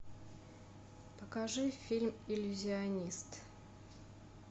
покажи фильм иллюзионист